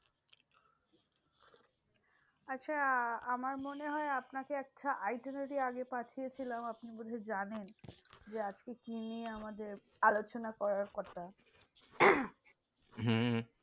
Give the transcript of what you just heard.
আচ্ছা আমার মনে হয় আপনাকে একটা item আমি আগে পাঠিয়ে ছিলাম। আপনি বুঝি জানেন যে, আজকে কি নিয়ে আমাদের আলোচনা করার কথা? হম হম